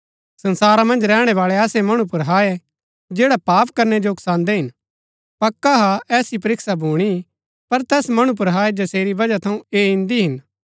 संसारा मन्ज रैहणै बाळै ऐसै मणु पुर हाय जैड़ा पाप करनै जो उकसान्दै हिन पक्का हा ऐसी परीक्षा भूणी पर तैस मणु पुर हाय जसेरी वजह थऊँ ऐ इन्दी हिन